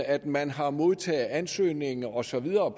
at man har modtaget ansøgningen og så videre